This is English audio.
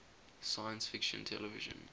science fiction television